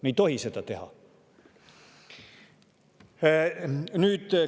Me ei tohi seda teha!